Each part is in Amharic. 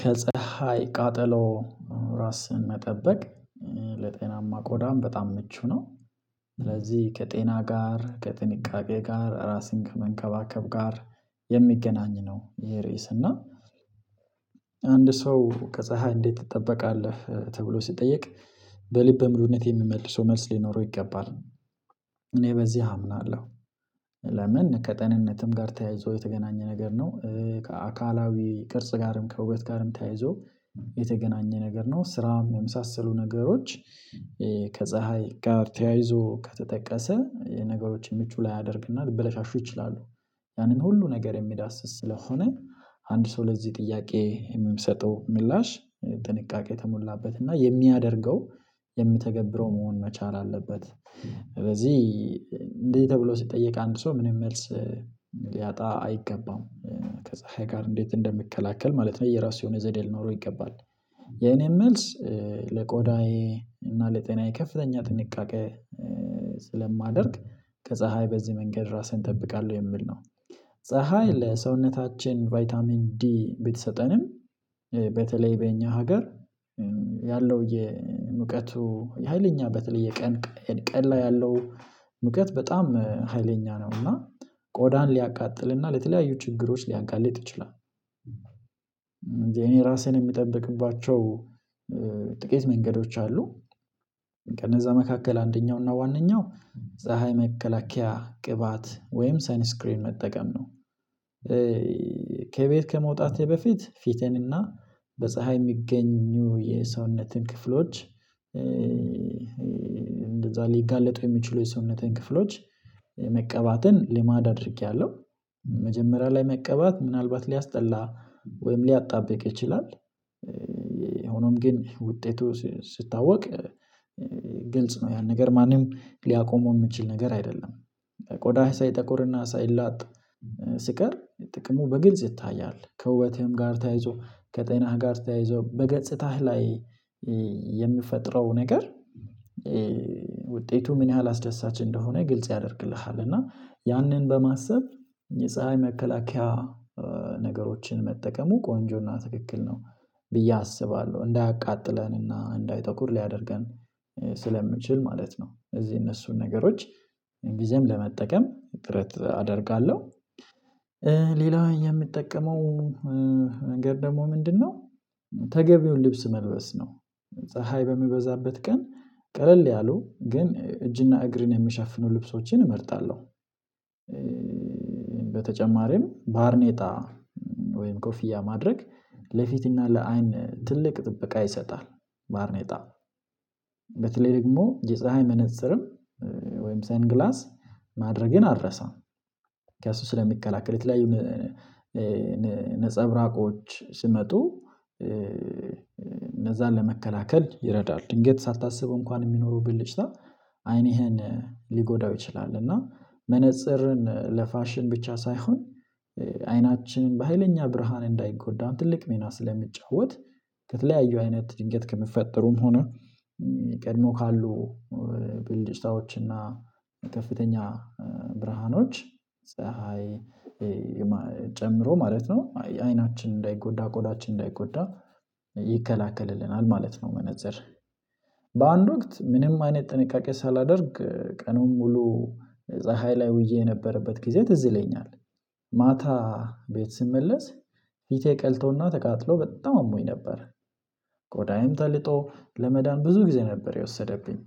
ከፀሀይ ቃጠሎ ራስን መጠበቅ ለጤናማ ቆዳም በጣም ምቹ ነው። ስለዚህ ከጤና ጋር ከጥንቃቄ ጋር ራስን ከመንከባከብ ጋር የሚገናኝ ነው። ይሄ ራስ እና አንድ ሰው ከፀሀይ እንዴት ትጠበቃለህ ተብሎ ሲጠየቅ? በልበ ሙሉነት የሚመልሰው መልስ ሊኖረው ይገባል እኔ በዚህ አምናለሁ። ለምን ከጤንነትም ጋር ተያይዞ የተገናኘ ነገር ነው። ከአካላዊ ቅርጽ ጋርም ከውበት ጋርም ተያይዞ የተገናኘ ነገር ነው። ስራውም የመሳሰሉ ነገሮች ከፀሀይ ጋር ተያይዞ ከተጠቀሰ የነገሮችን ምቹ ላይ ያደርግናል ብለሽ አሹ ይችላሉ። ያንን ሁሉ ነገር የሚዳስስ ስለሆነ አንድ ሰው ለዚህ ጥያቄ የሚሰጠው ምላሽ ጥንቃቄ ተሞላበት እና የሚያደርገው የሚተገብረው መሆን መቻል አለበት። ስለዚህ እንደዚህ ተብሎ ሲጠየቅ አንድ ሰው ምንም መልስ ሊያጣ አይገባም። ከፀሀይ ጋር እንዴት እንደምከላከል ማለት ነው የራሱ የሆነ ዘዴ ሊኖረው ይገባል። የኔም መልስ ለቆዳዬ እና ለጤናዬ ከፍተኛ ጥንቃቄ ስለማደርግ ከፀሀይ በዚህ መንገድ ራስህን እጠብቃለሁ የሚል ነው። ፀሀይ ለሰውነታችን ቫይታሚን ዲ ቢሰጠንም በተለይ በእኛ ሀገር ያለው የሙቀቱ የሃይለኛ በተለይ የቀን ቀን ላይ ያለው ሙቀት በጣም ሀይለኛ ነው እና ቆዳን ሊያቃጥልና ለተለያዩ ችግሮች ሊያጋልጥ ይችላል። እኔ ራሴን የሚጠብቅባቸው ጥቂት መንገዶች አሉ። ከነዛ መካከል አንደኛው እና ዋነኛው ፀሀይ መከላከያ ቅባት ወይም ሰንስክሪን መጠቀም ነው። ከቤት ከመውጣቴ በፊት ፊቴንና በፀሀይ የሚገኙ የሰውነትን ክፍሎች እንደዛ ሊጋለጡ የሚችሉ የሰውነትን ክፍሎች ልማድ አዳርጌያለሁ። መጀመሪያ ላይ መቀባት ምናልባት ሊያስጠላ ወይም ሊያጣብቅ ይችላል። ሆኖም ግን ውጤቱ ሲታወቅ ግልጽ ነው ያን ነገር ማንም ሊያቆመው የምትችል ነገር አይደለም። ቆዳ ሳይጠቁርና ሳይላጥ ስቀር ጥቅሙ በግልጽ ይታያል። ከውበትህም ጋር ተያይዞ ከጤናህ ጋር ተያይዞ በገጽታህ ላይ የሚፈጥረው ነገር ውጤቱ ምን ያህል አስደሳች እንደሆነ ግልጽ ያደርግልሃል። እና ያንን በማሰብ የፀሀይ መከላከያ ነገሮችን መጠቀሙ ቆንጆና ትክክል ነው። ብዬ አስባለሁ እንዳያቃጥለንና እንዳይተኩር ሊያደርገን ስለምችል ማለት ነው። እዚህ እነሱን ነገሮች ሁልጊዜም ለመጠቀም እጥረት አደርጋለሁ። ሌላው የምትጠቀመው ነገር ደግሞ ምንድነው? ተገቢውን ልብስ መልበስ ነው። ፀሀይ በሚበዛበት ቀን ቀለል ያሉ ግን እጅና እግርን የምሸፍነው ልብሶችን እመርጣለሁ። በተጨማሪም ባርኔጣ ወይም ኮፍያ ማድረግ ለፊትና ለአይን ትልቅ ጥበቃ ይሰጣል። ባርኔጣ በተለይ ደግሞ የፀሀይ መነፅርም ወይም ሰንግላስ ማድረግን አልረሳም። ከእሱ ስለሚከላከል የተለያዩ ላይ ነፀብራቆች ስመጡ እነዛን ለመከላከል ይረዳል። ድንገት ሳታስበው እንኳን የሚኖሩብን ልጅ ላይ አይንህን ሊጎዳው ይችላል። እና መነፀርን ለፋሽን ብቻ ሳይሆን አይናችን በሃይለኛ ብርሃን እንዳይጎዳን ትልቅ ሚና ስለሚጫወት። ከተለያዩ አይነት ድንገት ከምፈጠሩም ሆነ ቀድሞ ካሉ ብልጭታዎች ብልጭታዎችና ከፍተኛ ብርሃኖች ፀሀይ ጨምሮ ማለት ነው አይናችን እንዳይጎዳ ቆዳችን እንዳይጎዳ ይከላከልልናል ማለት ነው። መነፅር በአንድ ወቅት ምንም አይነት ጥንቃቄ ሳላደርግ ቀኑን ሙሉ ፀሀይ ላይ ውዬ የነበረበት ጊዜ ትዝለኛል። ማታ ቤት ስመለስ ፊቴ ቀልቶና ተቃጥሎ በጣም አሞኝ ነበር። ቆዳዬም ተልጦ ለመዳን ብዙ ጊዜ ነበር የወሰደብኝ።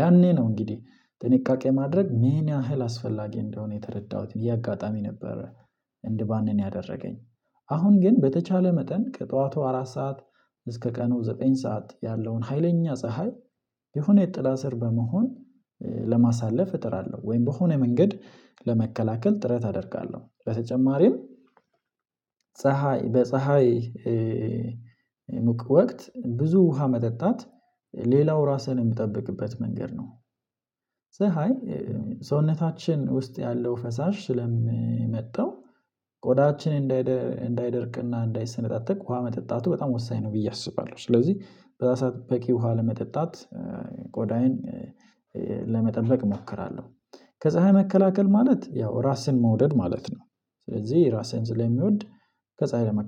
ያኔ ነው እንግዲህ ጥንቃቄ ማድረግ ምን ያህል አስፈላጊ እንደሆነ የተረዳሁት እያጋጣሚ ነበረ። እንድባንን ያደረገኝ። አሁን ግን በተቻለ መጠን ጠዋቱ አራት ሰዓት እስከ ቀኑ ዘጠኝ ሰዓት ያለውን ሀይለኛ ፀሀይ የሆነ የጥላ ስር በመሆን ለማሳለፍ እጥራለሁ ወይም በሆነ መንገድ ለመከላከል ጥረት አደርጋለሁ በተጨማሪም። ፀሀይ በፀሀይ የፀሀይ ወቅት ብዙ ውሃ መጠጣት ሌላው ራስህን የምትጠብቅበት መንገድ ነው። ፀሀይ ሰውነታችን ውስጥ ያለው ፈሳሽ ስለምመጣው ቆዳችን እንዳይደርቅና እንዳይሰነጣጠቅ ውሃ መጠጣቱ በጣም ወሳኝ ነው ብዬ አስባለሁ። ስለዚህ በዛ ሰዓት በቂ ውሃ ለመጠጣት ቆዳዬን ለመጠበቅ እሞክራለሁ። ከፀሀይ መከላከል ማለት ያው ራስህን መውደድ ማለት ነው። ስለዚህ ራስህን ስለሚወድ ከፀሀይ ለመ